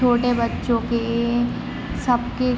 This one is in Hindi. छोटे बच्चों के सब के--